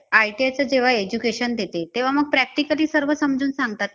ITI च जेव्हा education देते तेव्हा मग practically सर्व समजून सांगतात का